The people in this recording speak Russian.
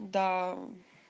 да